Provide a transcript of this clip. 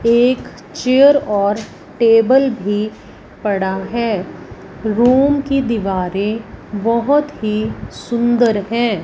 एक चेयर और टेबल भी पड़ा है रूम की दीवारें बहोत ही सुंदर हैं।